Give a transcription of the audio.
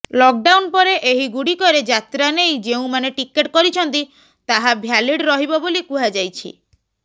lockdown ପରେ ଏହି ଗୁଡ଼ିକରେ ଯାତ୍ରା ନେଇ ଯେଉଁମାନେ ଟିକେଟ କରିଛନ୍ତି ତାହା ଭ୍ୟାଲିଡ ରହିବ ବୋଲି କୁହାଯାଇଛି